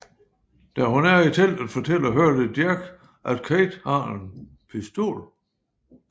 Da hun er i teltet fortæller Hurley Jack at Kate har en pistol